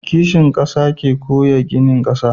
Kishin ƙasa shi ke kowa gina ƙasa.